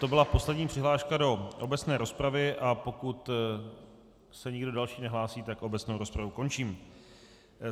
To byla poslední přihláška do obecné rozpravy, a pokud se nikdo další nehlásí, tak obecnou rozpravu končím.